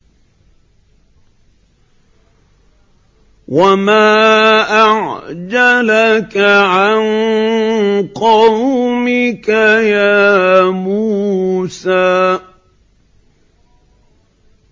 ۞ وَمَا أَعْجَلَكَ عَن قَوْمِكَ يَا مُوسَىٰ